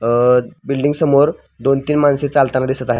अ building समोर दोन तीन माणसे चालताना दिसत आहेत.